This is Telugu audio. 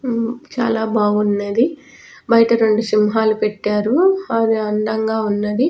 చాలా బాగున్నదిబయట రెండు సింహాలు పెట్టారు అవి అందంగా ఉన్నవి .